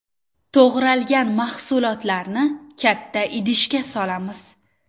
To‘g‘ralgan mahsulotlarni katta idishga solamiz.